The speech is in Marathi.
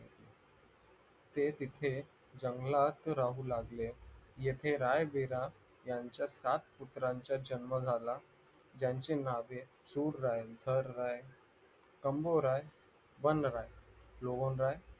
ते तिथे जंगलात राहू लागले इथे राय-विरा यांचा सातपुत्रांचा जन्म झाला त्याचे नावे सुर राय थर नाय शंभूराय वन राय रोहन राय